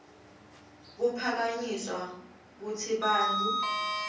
kuphakanyiswa kutsi bantfu